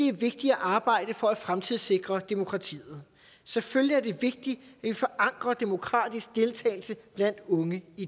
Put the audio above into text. er vigtigt at arbejde for at fremtidssikre demokratiet selvfølgelig er det vigtigt at vi forankrer demokratisk deltagelse blandt unge i